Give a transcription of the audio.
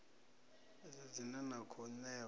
idzi dzine na khou ṋewa